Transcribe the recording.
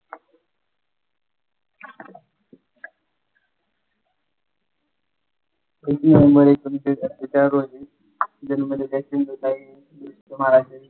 वीस नोव्हेंबर एकोणविशे सत्तेचाळीस रोजी जन्मलेल्या सिंधुताई महाराष्ट्रातील